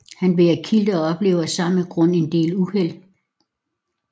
Han bærer kilt og oplever af samme grund en del uheld